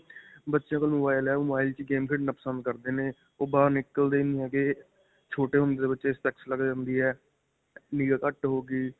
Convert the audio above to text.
ਬੱਚੇ ਕੋਲ mobile ਹੈ. ਓਹ mobile ਵਿੱਚ ਹੀ game ਖੇਡਣਾ ਪਸੰਦ ਕਰਦੇ ਨੇ. ਓਹ ਬਾਹਰ ਨਿਕਲਦੇ ਨਹੀਂ ਹੈਗੇ. ਛੋਟੇ ਹੁੰਦੇ ਤੋਂ ਬੱਚੇ ਦੇ specs ਲੱਗ ਜਾਂਦੀ ਹੈ. ਨਿਗਾਹ ਘੱਟ ਹੋ ਗਈ .